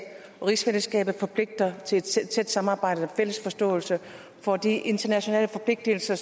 og rigsfællesskabet forpligter til tæt samarbejde og fælles forståelse for de internationale forpligtelser